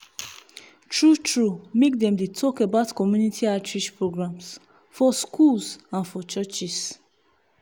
true true make dem dey talk about community outreach programs for schools and for churches